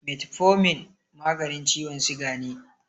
Metfomin maganin ciwon siga ne.